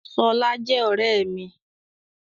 Ṣọlá jẹ́ ọ̀rẹ́ mi.